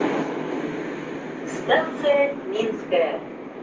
станция минская